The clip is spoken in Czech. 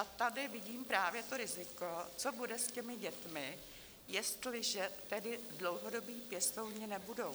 A tady vidím právě to riziko, co bude s těmi dětmi, jestliže tedy dlouhodobí pěstouni nebudou.